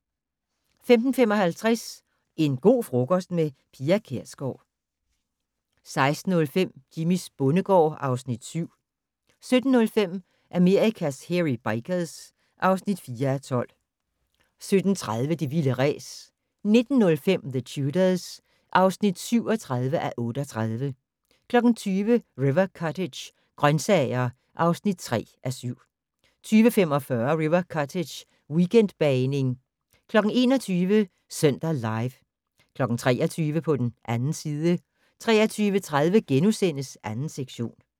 15:55: En go' frokost - med Pia Kjærsgaard 16:05: Jimmys bondegård (Afs. 7) 17:05: Amerikas Hairy Bikers (4:12) 17:30: Det vilde ræs 19:05: The Tudors (37:38) 20:00: River Cottage - grøntsager (3:7) 20:45: River Cottage - weekendbagning 21:00: Søndag Live 23:00: På den 2. side 23:30: 2. sektion *